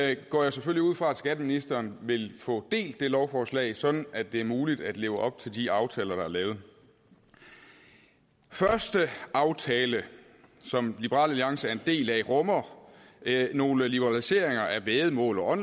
jeg går selvfølgelig ud fra at skatteministeren vil få delt det lovforslag sådan at det er muligt at leve op til de aftaler der er lavet den første aftale som liberal alliance er en del af rummer nogle liberaliseringer af væddemål og